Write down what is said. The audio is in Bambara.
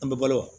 An bɛ balo wa